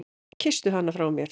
Kysstu hana frá mér.